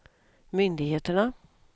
myndigheterna